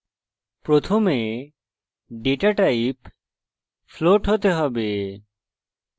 প্রথমে data type float হতে হবে